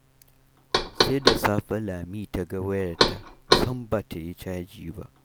Sai da safe Lami ta ga wayarta sam ba ta yi caji ba.